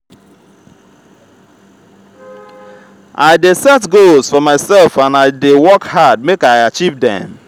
i dey set goals for myself and i dey work hard make i achieve dem.